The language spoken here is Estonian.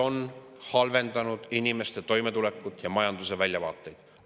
… mis on halvendanud inimeste toimetulekut ja majanduse väljavaateid.